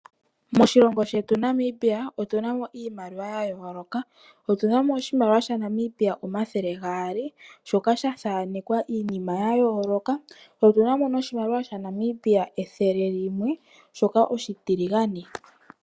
Moshilongo shetu Namibia otu na mo iimaliwa ya yooloka. Otu na mo oshimaliwa shaNamibia o200 shoka sha thaanekwa iinima ya yooloka. Tse otu na mo noshimaliwa shaNamibia 100 limwe shoka oshitiligane.